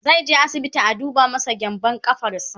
zaije asibiti a duba masa gyanbun ƙafarsa